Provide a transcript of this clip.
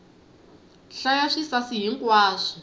hlaya swisasi hi nkwaswo